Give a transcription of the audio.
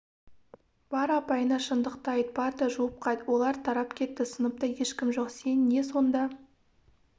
бар апайыңа шындықты айт парта жуып қайт олар тарап кетті сыныпта ешкім жок сен не сонда